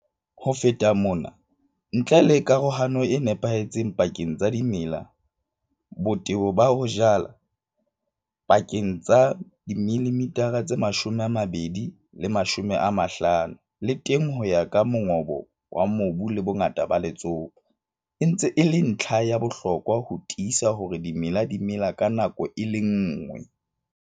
Ho feta mona, ntle le karohano e nepahetseng pakeng tsa dimela, botebo ba ho jala pakeng tsa 20 mm and 50 mm le teng ho ya ka mongobo wa mobu le bongata ba letsopa, e ntse e le ntlha ya bohlokwa ho tiisa hore dimela di mela ka nako e le nngwe.